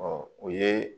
o ye